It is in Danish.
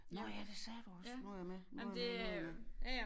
Nåh ja det sagde du også nu jeg med nu jeg med nu jeg med